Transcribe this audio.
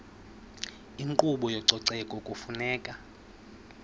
inkqubo yezococeko kufuneka